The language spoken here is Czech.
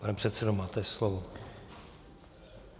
Pane předsedo, máte slovo.